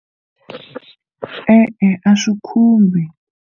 E-e, a swi khumbi.